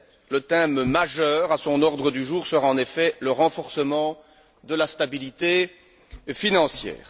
Le thème majeur à son ordre du jour sera en effet le renforcement de la stabilité financière.